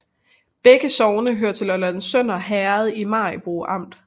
Begge sogne hørte til Lollands Sønder Herred i Maribo Amt